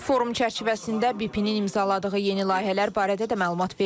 Forum çərçivəsində BP-nin imzaladığı yeni layihələr barədə də məlumat verildi.